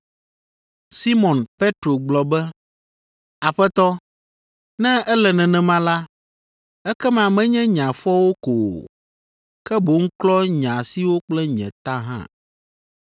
Simɔn Petro gblɔ be, “Aƒetɔ, ne ele nenema la, ekema menye nye afɔwo ko o, ke boŋ klɔ nye asiwo kple nye ta hã.”